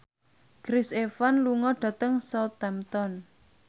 Chris Evans lunga dhateng Southampton